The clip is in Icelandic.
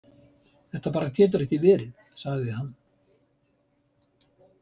Þetta bara getur ekki verið, sagði hann.